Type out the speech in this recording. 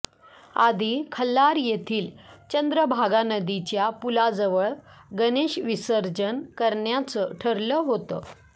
आधी खल्लार येथील चंद्रभागा नदीच्या पुलाजवळ गणेश विसर्जन करण्याचं ठरलं होतं